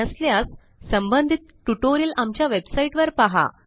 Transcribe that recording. नसल्यास संबंधित ट्युटोरियल आमच्या वेबसाईटवर पहा